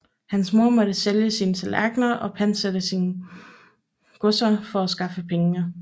Hans mor måtte sælge sine tallerkener og pantsætte sine godser for at skaffe pengene